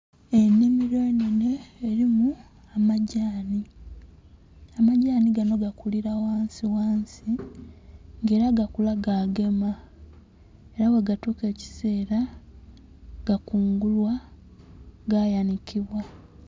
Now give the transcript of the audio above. Ennhimilo enhenhe elimu amagyani. Amagyani gano gakulira ghansighansi, nga ela gakula gagema. Ela bwegatuuka ekiseela gakungulwa, gayanhikibwa.